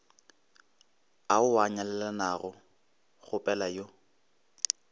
ao a nyalelanago kgopela yo